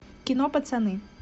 кино пацаны